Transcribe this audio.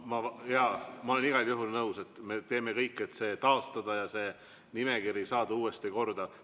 Jaa, ma olen igal juhul nõus, me teeme kõik, et see taastada ja see nimekiri saada uuesti korda.